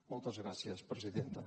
moltes gràcies presidenta